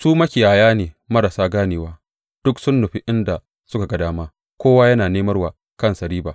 Su makiyaya ne marasa ganewa; duk sun nufi inda suka ga dama, kowa yana nemar wa kansa riba.